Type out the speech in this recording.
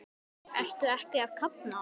Ertu ekki að kafna?